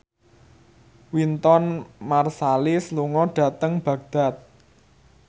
Wynton Marsalis lunga dhateng Baghdad